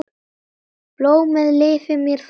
Blómið lifir mér þó skemur.